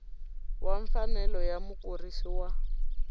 wa mfanelo ya mukurisi wa